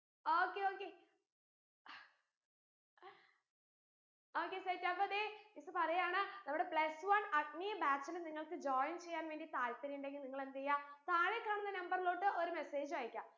okay okay okay set അപ്പോ ദേ miss പറയാണ് നമ്മടെ plus one അഗ്നി batch ന് നിങ്ങൾക്ക് join ചെയ്യാൻ വേണ്ടി താല്പര്യണ്ടെങ്കിൽ നിങ്ങൾ എന്തെയാ താഴെ കാണുന്ന number ലോട്ട് ഒരു message അയക്ക